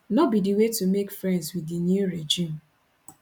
no be di way to make friends with di new regime